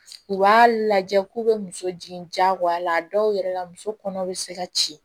U b'a lajɛ k'u bɛ muso jigin a la a dɔw yɛrɛ la muso kɔnɔw bɛ se ka ci